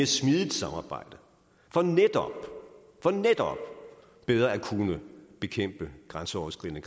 smidigt samarbejde for netop bedre at kunne bekæmpe grænseoverskridende